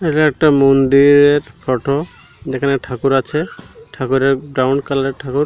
এটা একটা মন্দিরের ফটো যেখানে ঠাকুর আছে ঠাকুরের ব্রাউন কালার -এর ঠাকুর।